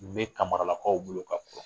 bɛ kamara lakaw bolo ka kɔrɔ.